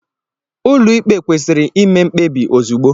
Ụlọikpe kwesịrị ime mkpebi ozugbo.